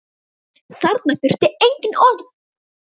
Þarna þurfti engin orð.